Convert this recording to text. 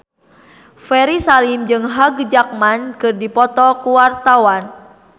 Ferry Salim jeung Hugh Jackman keur dipoto ku wartawan